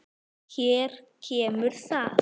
Hér kemur það.